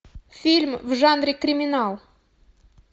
фильм в жанре криминал